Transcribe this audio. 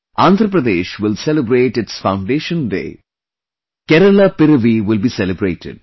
Andhra Pradesh will celebrate its foundation day; Kerala Piravi will be celebrated